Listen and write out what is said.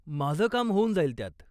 माझं काम होऊन जाईल त्यात.